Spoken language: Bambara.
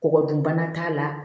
Kɔgɔ dun bana t'a la